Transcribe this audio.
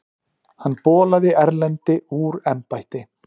Hann bolaði Erlendi úr embætti.